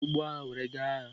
Ha bu ụgbọ agha were gaa agha.